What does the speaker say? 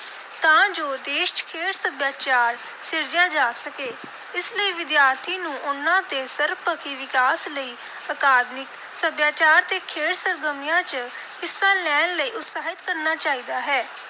ਤਾਂ ਜੋ ਦੇਸ਼ ਚ ਖੇਡ ਸੱਭਿਆਚਾਰ ਸਿਰਜਿਆ ਜਾ ਸਕੇ। ਇਸ ਲਈ ਵਿਦਿਆਰਥੀ ਨੂੰ ਉਨ੍ਹਾਂ ਦੇ ਸਰਬਪੱਖੀ ਵਿਕਾਸ ਲਈ ਅਕਾਦਮਿਕ, ਸੱਭਿਆਚਾਰ ਤੇ ਖੇਡ ਸਰਗਰਮੀਆਂ ਚ ਹਿੱਸਾ ਲੈਣ ਲਈ ਉਤਸ਼ਾਹਿਤ ਕਰਨਾ ਚਾਹੀਦਾ ਹੈ।